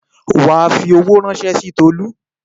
Wà á fi owó ránṣẹ́ sí Tolú.